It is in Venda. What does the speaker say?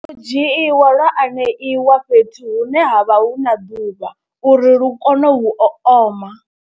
U dzhiiwa lwa aneiwa fhethu hune ha vha hu na ḓuvha uri lu kone u oma.